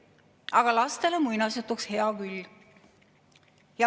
Aga lastele muinasjutuks hea küll.